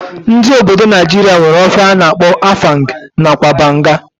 Ndi obodo Naijiria nwere ofe ana akpo afang nakwa banga.